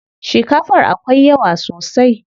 Shikafar akwai yawa sosai.